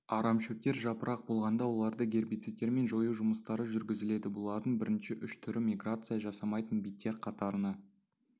арамшөптер жапырақ болғанда оларды гербицидтермен жою жұмыстары жүргізіледі бұлардың бірінші үш түрі миграция жасамайтын биттер қатарына